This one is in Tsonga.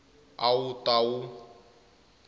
a wu ta va wu